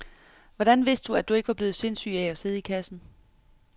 Hvordan vidste du, at du ikke var blevet sindssyg af at sidde i kassen?